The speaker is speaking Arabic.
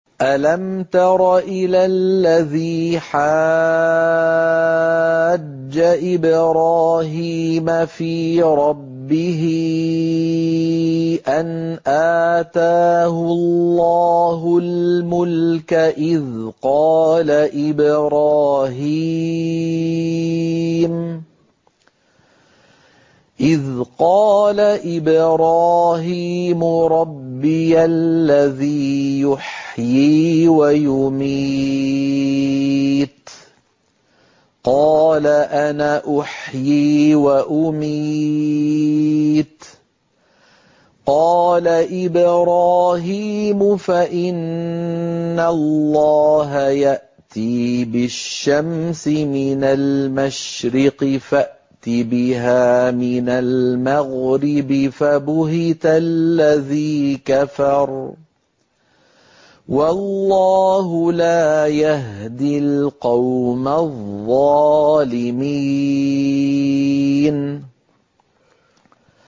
أَلَمْ تَرَ إِلَى الَّذِي حَاجَّ إِبْرَاهِيمَ فِي رَبِّهِ أَنْ آتَاهُ اللَّهُ الْمُلْكَ إِذْ قَالَ إِبْرَاهِيمُ رَبِّيَ الَّذِي يُحْيِي وَيُمِيتُ قَالَ أَنَا أُحْيِي وَأُمِيتُ ۖ قَالَ إِبْرَاهِيمُ فَإِنَّ اللَّهَ يَأْتِي بِالشَّمْسِ مِنَ الْمَشْرِقِ فَأْتِ بِهَا مِنَ الْمَغْرِبِ فَبُهِتَ الَّذِي كَفَرَ ۗ وَاللَّهُ لَا يَهْدِي الْقَوْمَ الظَّالِمِينَ